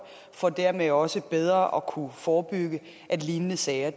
for dermed også bedre at kunne forebygge at lignende sager